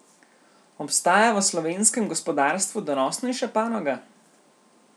Obstaja v slovenskem gospodarstvu donosnejša panoga?